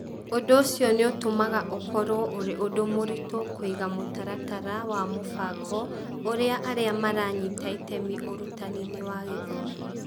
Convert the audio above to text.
Ũndũ ũcio nĩ ũtũmaga ũkorũo ũrĩ ũndũ mũritũ kũiga mũtaratara wa mũbango ũrĩa arĩa maranyita itemi ũrutani-inĩ wa gĩthomo.